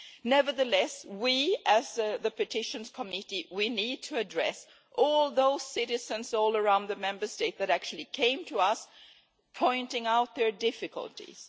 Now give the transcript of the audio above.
Nevertheless, we, as the Petitions Committee, need to address all those citizens everywhere in the Member States who actually came to us pointing out their difficulties.